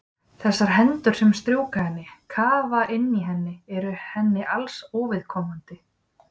Þessar hendur sem strjúka henni, kafa inn í henni eru henni alls óviðkomandi.